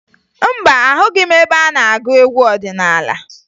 Mba, ahụghị m ebe a na-agụ egwu ọdịnaala